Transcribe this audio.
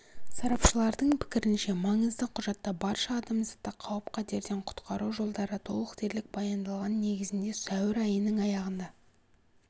сарапшылардың пікірінше маңызды құжатта барша адамзатты қауіп-қатерден құтқару жолдары толық дерлік баяндалған негізінде сәуір айының аяғында